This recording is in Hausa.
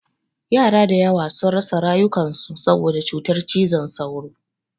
Yara da yawa sun rasa rayukan su saboda cutar cizon sauro.